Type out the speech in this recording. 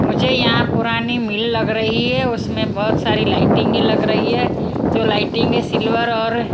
मुझे यहां पुरानी मिल लग रही है उसमें बहुत सारी लाइटिंग लग रही है जो लाइटिंग है सिल्वर और --